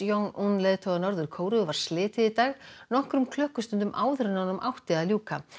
un leiðtoga Norður Kóreu var slitið í dag nokkrum tímum áður en honum átti að ljúka